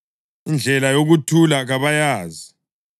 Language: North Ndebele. indlela yokuthula kabayazi.” + 3.17 U-Isaya 59.7-8